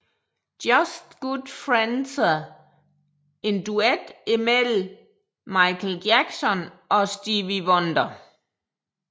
Just Good Friendser en duet mellem Michael Jackson og Stevie Wonder